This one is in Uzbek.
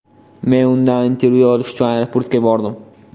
Men undan intervyu olish uchun aeroportga bordim.